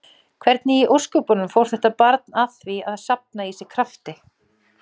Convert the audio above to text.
Þykir þetta meiriháttar brandari.